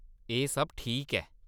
एह्‌‌ सब ठीक ऐ।